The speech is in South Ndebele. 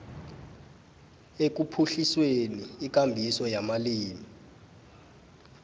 ekuphuhliseni ikambiso yamalimi